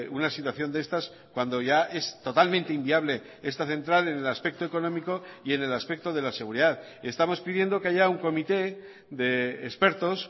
una situación de estas cuando ya es totalmente inviable esta central en el aspecto económico y en el aspecto de la seguridad estamos pidiendo que haya un comité de expertos